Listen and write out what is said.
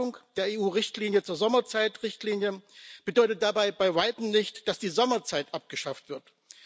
Die Abschaffung der EU Richtlinie zur Sommerzeit bedeutet dabei bei Weitem nicht, dass die Sommerzeit abgeschafft wird.